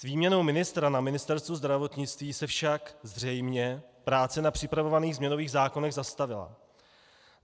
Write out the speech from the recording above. S výměnou ministra na Ministerstvu zdravotnictví se však zřejmě práce na připravovaných změnových zákonech zastavila.